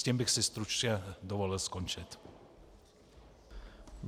S tím bych si stručně dovolil skončit.